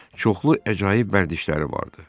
Çoxlu əcaib vərdişləri vardı.